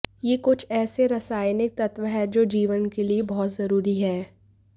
ये कुछ ऐसे रासायनिक तत्व हैं जो जीवन के लिए बहुत जरूरी हैं